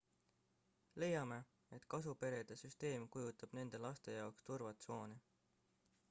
leiame et kasuperede süsteem kujutab nende laste jaoks turvatsooni